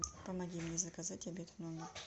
помоги мне заказать обед в номер